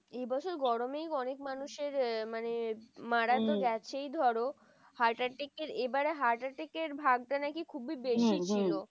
এই বছর গরমেই অনেক মানুষের মানে মারা তো গেছেই ধরো। heart attack এর এবারে heart attack এর ভাগটা নাকি খুবই বেশি ছিল।